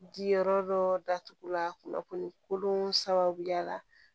Di yɔrɔ dɔ datugu la kunnafoni kolon sababuya la